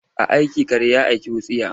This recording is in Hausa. A aiki kare ya aiki wutsiya?